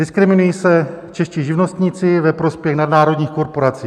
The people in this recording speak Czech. Diskriminují se čeští živnostníci ve prospěch nadnárodních korporací.